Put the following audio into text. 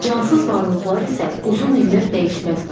Cansız varlıqlar isə uzun illər dəyişməz qalır.